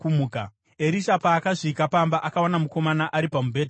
Erisha paakasvika pamba, akawana mukomana ari pamubhedha akafa.